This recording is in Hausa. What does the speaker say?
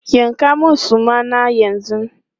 Yanka mun suma na yanzu!